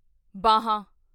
ਬਾਹਾਂ